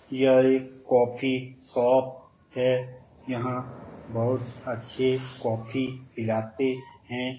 यह एक coffee shop है यहां बहुत अच्छे कॉफी पिलाते हैं।